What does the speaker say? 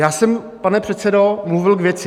Já jsem, pane předsedo, mluvil k věci.